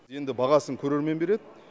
енді бағасын көрермен береді